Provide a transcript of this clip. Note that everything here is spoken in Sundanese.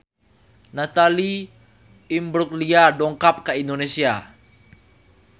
Natalie Imbruglia dongkap ka Indonesia